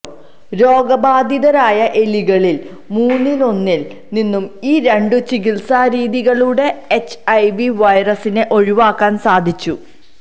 രോഗബാധിതരായ എലികളില് മൂന്നിലൊന്നില് നിന്നും ഈ രണ്ട് ചികിത്സാ രീതികളിലൂടെ എച്ച്ഐവി വൈറസിനെ ഒഴിവാക്കാന് സാധിച്ചു